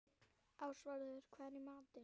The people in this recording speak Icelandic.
Ásvarður, hvað er í matinn?